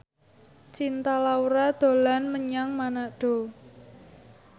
Cinta Laura dolan menyang Manado